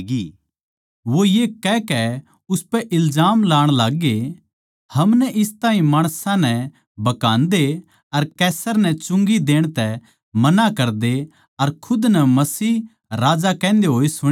वो ये कहकै उसपै इल्जाम ल्गाण लाग्गे हमनै इस ताहीं माणसां नै भकांदे अर कैसर नै चुंगी देण तै मना करदे अर खुद नै मसीह राजा कहन्दे होए सुण्या सै